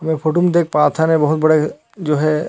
ये फोटो म देख पात हन ये बहुत बड़े जो हे--